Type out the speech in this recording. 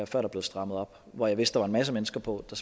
før der blev strammet op og hvor jeg vidste at en masse mennesker på der